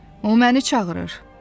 O məni çağırır.